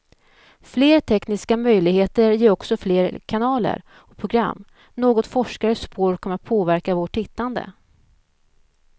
Fler tekniska möjligheter ger också fler kanaler och program, något forskare spår kommer att påverka vårt tittande.